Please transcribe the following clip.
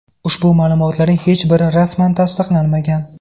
Ushbu ma’lumotlarning hech biri rasman tasdiqlanmagan.